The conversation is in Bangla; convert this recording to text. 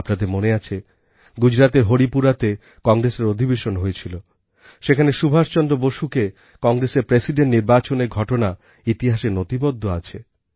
আপনাদের মনে আছে গুজরাতের হরিপুরাতে কংগ্রেসের অধিবেশন হয়েছিল যেখানে সুভাষ চন্দ্র বোসকে কংগ্রেসের প্রেসিডেন্ট নির্বাচনের ঘটনা ইতিহাসে নথিবদ্ধ আছে